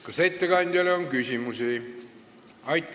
Kas ettekandjale on küsimusi?